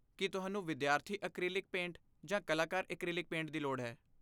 ਕੀ ਤੁਹਾਨੂੰ ਵਿਦਿਆਰਥੀ acrylic paint ਜਾਂ ਕਲਾਕਾਰ ਐਕ੍ਰੀਲਿਕ ਪੇਂਟ ਦੀ ਲੋੜ ਹੈ?